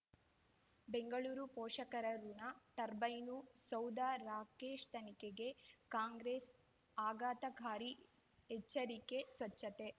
ಬೆಂಗಳೂರು ಪೋಷಕರಋಣ ಟರ್ಬೈನು ಸೌಧ ರಾಕೇಶ್ ತನಿಖೆಗೆ ಕಾಂಗ್ರೆಸ್ ಆಘಾತಕಾರಿ ಎಚ್ಚರಿಕೆ ಸ್ವಚ್ಛತೆ